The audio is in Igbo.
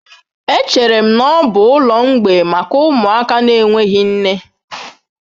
Echere m na ọ bụ ụlọ mgbei maka ụmụaka na-enweghị nne.